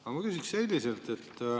Aga ma küsin selliselt.